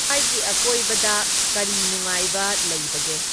ꯑꯀꯣꯏꯕꯗ ꯀꯔꯤ ꯅꯨꯡꯉꯥꯏꯕ ꯂꯩꯕꯒꯦ